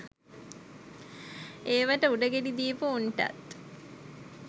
ඒවට උඩ ගෙඩි දීපු උන්ටත්